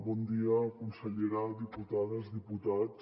bon dia consellera diputats diputades